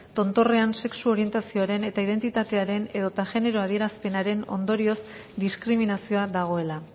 tontorrean sexu orientazioaren eta identitatearen edota genero adierazpenaren ondorioz diskriminazioa dagoela